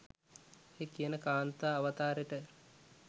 ඔය කියන කාන්තා අවතාරෙට